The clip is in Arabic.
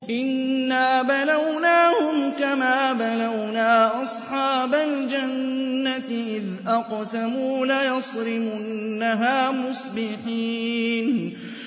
إِنَّا بَلَوْنَاهُمْ كَمَا بَلَوْنَا أَصْحَابَ الْجَنَّةِ إِذْ أَقْسَمُوا لَيَصْرِمُنَّهَا مُصْبِحِينَ